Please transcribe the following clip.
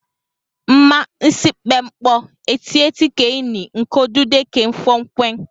Mma nsikpep n̄kpọ etieti ke ini n̄kodude ke ufọkn̄wed.